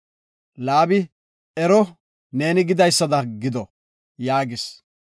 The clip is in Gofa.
Laabi, “Ero, neeni gidaysada gido” yaagis.